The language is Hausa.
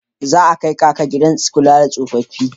Za a kai Kaka gidan kula da tsofaffi.